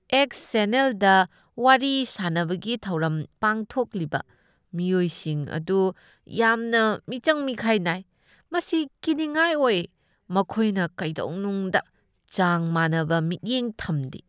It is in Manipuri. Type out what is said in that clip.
ꯑꯦꯛꯁ ꯆꯦꯅꯦꯜꯗ ꯋꯥꯔꯤ ꯁꯥꯅꯕꯒꯤ ꯊꯧꯔꯝ ꯄꯥꯡꯊꯣꯛꯂꯤꯕ ꯃꯤꯑꯣꯏꯁꯤꯡ ꯑꯗꯨ ꯌꯥꯝꯅ ꯃꯤꯆꯪ ꯃꯤꯈꯥꯏ ꯅꯥꯏ, ꯃꯁꯤ ꯀꯤꯅꯤꯡꯉꯥꯏ ꯑꯣꯏ꯫ ꯃꯈꯣꯏꯅ ꯀꯩꯗꯧꯅꯨꯡꯗ ꯆꯥꯡ ꯃꯥꯟꯅꯕ ꯃꯤꯠꯌꯦꯡ ꯊꯝꯗꯦ꯫